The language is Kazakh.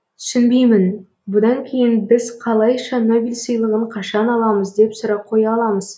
түсінбеймін бұдан кейін біз қалайша нобель сыйлығын қашан аламыз деп сұрақ қоя аламыз